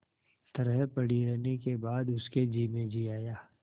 तरह पड़ी रहने के बाद उसके जी में जी आया